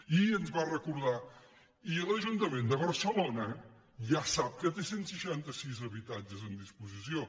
i ens va recor·dar i l’ajuntament de barcelona ja sap que té cent i seixanta sis habitatges en disposició